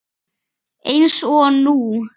Eins og nú.